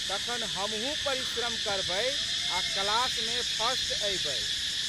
तखन हमहूँ परिश्रम करबै आ' क्लासमे फर्सट अयबै।